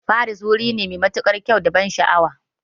Paris wuri ne mai matuƙar kyau da ban sha'awa